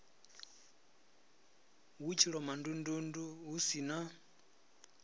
hu tshilomondundundu hu si na